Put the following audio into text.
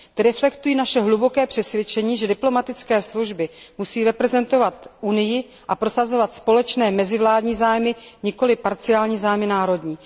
Ty reflektují naše hluboké přesvědčení, že diplomatická služba musí reprezentovat Unii a prosazovat společné mezivládní zájmy, nikoli parciální zájmy národní.